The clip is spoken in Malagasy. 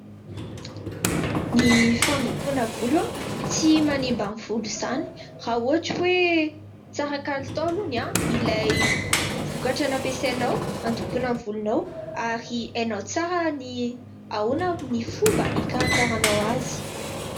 Ny fandokoana volo tsy manimba ny volo izany, raha ohatra hoe tsara kalitao aloha ilay vokatra nampiasainao handokonao ny volonao ary hainao tsara ny ahoana ny fomba hikarakaranao azy.